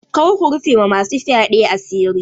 Kar ku rufa ma masu fyaɗe asiri.